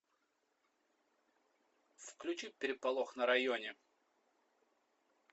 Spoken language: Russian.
включи переполох на районе